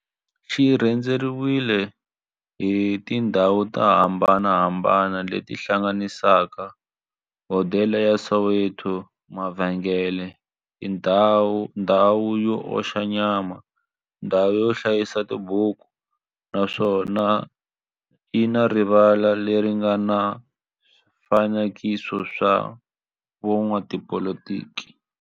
xi rhendzeriwile hi tindhawu to hambanahambana le ti hlanganisaka, hodela ya Soweto, mavhengele, ndhawu yo oxa nyama, ndhawu yo hlayisa tibuku, naswona yi na rivala le ri nga na swifanekiso swa vo n'watipolitiki.